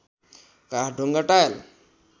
काठ ढुङ्गा टायल